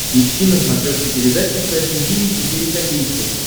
ищи на смотрешке передачу фэшн ти ви четыре ка